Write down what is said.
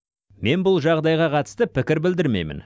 мен бұл жағдайға қатысты пікір білдірмеймін